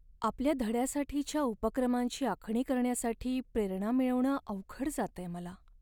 आपल्या धड्यासाठीच्या उपक्रमांची आखणी करण्यासाठी प्रेरणा मिळवणं अवघड जातंय मला.